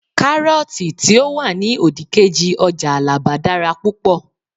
karọọti ti o wani odikeji ọjà alaba dara púpò